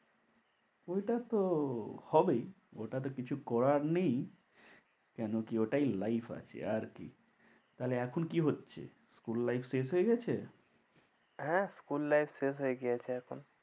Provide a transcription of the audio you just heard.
ওটা তো হবেই, ওটা তো কিছু করার নেই, কেন কি ওটাই life আছে আর কি। তাহলে এখন কি হচ্ছে school life শেষ হয়ে গেছে? হ্যাঁ school life শেষ হয়ে গেছে এখন।